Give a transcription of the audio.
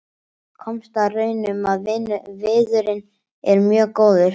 Komst að raun um að viðurinn er mjög góður.